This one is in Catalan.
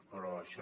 però això